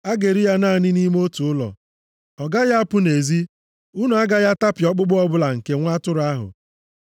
“A ga-eri ya naanị nʼime otu ụlọ. Ọ gaghị apụ nʼezi. Unu agaghị atapịa ọkpụkpụ ọbụla nke nwa atụrụ ahụ.